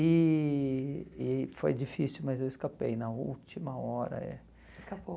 E e foi difícil, mas eu escapei na última hora, é. Escapou.